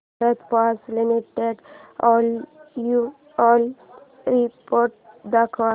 Bharat Forge Limited annual report दाखव